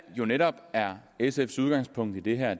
jo netop er sfs udgangspunkt i det her